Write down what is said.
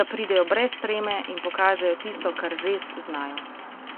da pridejo brez treme in pokažejo tisto, kar res znajo.